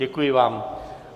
Děkuji vám.